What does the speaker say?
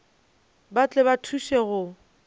ba tle ba thuše go